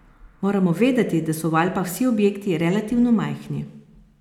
Moramo vedeti, da so v Alpah vsi objekti relativno majhni.